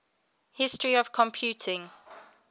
history of computing